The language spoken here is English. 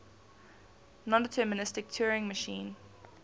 nondeterministic turing machine